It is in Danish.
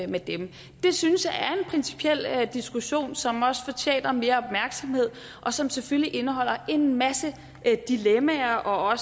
med dem det synes jeg er en principiel diskussion som også fortjener mere opmærksomhed og som selvfølgelig indeholder en masse dilemmaer og